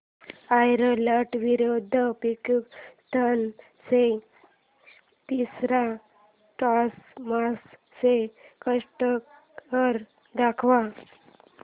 Ireland विरुद्ध पाकिस्तान च्या तिसर्या टेस्ट मॅच चा स्कोअर दाखवा